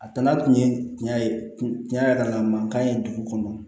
A nana tun ye tiɲɛ ye tiɲɛ yɛrɛ la mankan ye dugu kɔnɔ